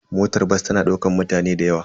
Motar bas tana daukar mutane da yawa.